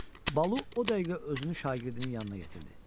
Balu o dəqiqə özünü şagirdinin yanına yetirdi.